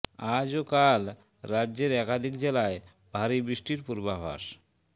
আজ ও কাল রাজ্যের একাধিক জেলায় ভারী বৃষ্টির পূর্বাভাস